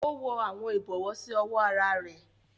O wọ awọn ibọwọ si ọwọ àrà rẹ